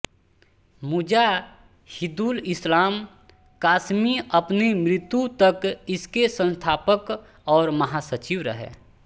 मुजाहिदुल इस्लाम कासमी अपनी मृत्यु तक इसके संस्थापक और महासचिव रहे